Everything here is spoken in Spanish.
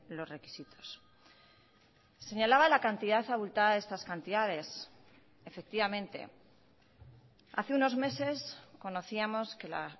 los requisitos señalaba la cantidad abultada de estas cantidades efectivamente hace unos meses conocíamos que la